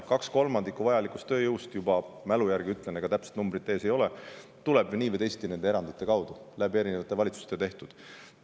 Kaks kolmandikku vajalikust tööjõust juba – mälu järgi ütlen, täpset numbrit ees ei ole – tuleb nii või teisiti nende erandite alusel, valitsused on need otsused teinud.